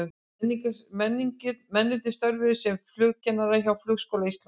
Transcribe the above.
Mennirnir störfuðu sem flugkennarar hjá Flugskóla Íslands.